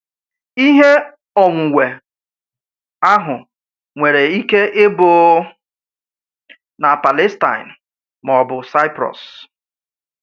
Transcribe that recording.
Ihe onwunwe ahụ nwere ike ịbụ na Palestine ma ọ bụ Cyprus.